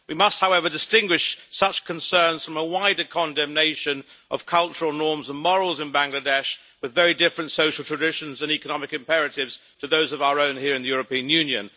We must, however, distinguish such concerns from a wider condemnation of cultural norms and morals in Bangladesh, with very different social traditions and economic imperatives to those of our own here in the European Union.